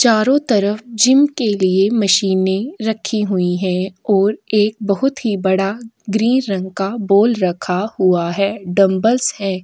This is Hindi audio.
चारों तरफ जिम के लिए मशीने रखी हुई है और एक बोहोत ही बड़ा ग्रीन रंग का बोल रखा हुआ है डंबलस है।